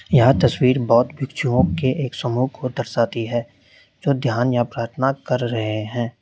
यह तस्वीर बौद्ध भिक्षुओं के एक समूह को दर्शाती है जो ध्यान या प्रार्थना कर रहे हैं।